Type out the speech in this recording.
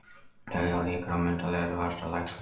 Telja líkur á myndarlegri vaxtalækkun